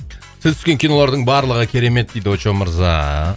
сіз түскен кинолардың барлығы керемет дейді очоу мырза